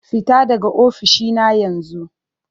Fita daga ofishina yanzu!